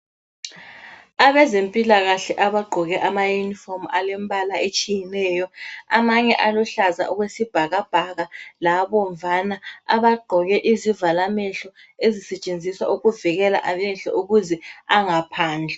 Abezempilakahle abagqoke ama uniform alembala etshiyeneyo. Amanye aluhlaza okwesibhakabhaka labomvana. Abagqoke izivalamehlo ezisetshenziswa ukuvikela amehlo ukuze angaphandlwa.